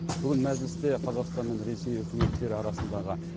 бүгін мәжілісте қазақстан мен ресей үкіметтері арасындағы